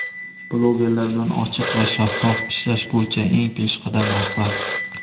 blogerlar bilan ochiq va shaffof ishlash bo‘yicha eng peshqadam rahbar.